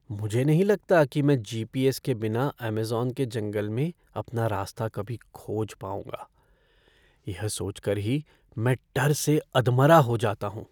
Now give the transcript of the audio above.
मुझे नहीं लगता कि मैं जी.पी.एस. के बिना अमेज़न के जंगल में अपना रास्ता कभी खोज पाऊँगा। यह सोच कर ही मैं डर से अधमरा हो जाता हूँ।